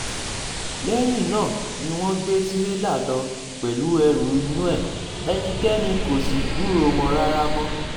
lẹ́yìn um náà ni wọ́n gbé tirẹ̀là lọ pẹ̀lú ẹrù inú ẹ̀ ẹnikẹ́ni kò sì um gbúròó wọn rárá mọ́